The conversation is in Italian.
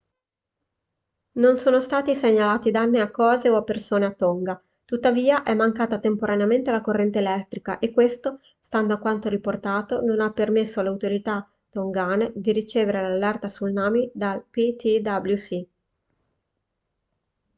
non sono stati segnalati danni a cose o persone a tonga tuttavia è mancata temporaneamente la corrente elettrica e questo stando a quanto riportato non ha permesso alle autorità tongane di ricevere l'allerta tsunami dal ptwc